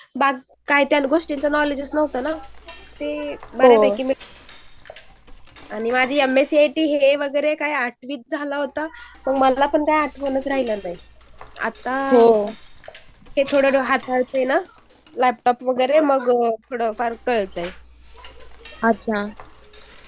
बाकी गोष्टींचं क्नॉलेज नव्हतं ना मग ते आणि माझी एमएस्सी वगैरे हे वगैरे आठवीत झालं होत. पण मग मला पण काही आठवण राहील नाही. आता हाताळते ना लॅपटॉप वगैरे त्यामुळे कळतंय